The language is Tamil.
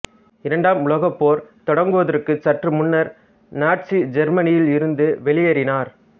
இரண்டாம் உலகப் போர் தொடங்குவதற்கு சற்று முன்னர் நாட்சி ஜெர்மனியிலிருந்து வெளியேறினார்